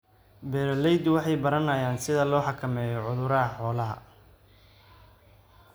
Beeraleydu waxay baranayaan sida loo xakameeyo cudurrada xoolaha.